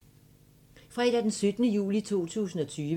Fredag d. 17. juli 2020